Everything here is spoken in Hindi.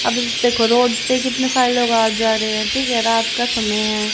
अब देखो रोड पे कितने सारे लोग आ जा रहे हैं ठीक है रात का समय है।